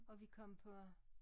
Og vi kom på